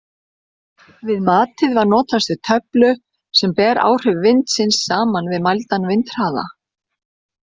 Við matið var notast við töflu sem ber áhrif vindsins saman við mældan vindhraða.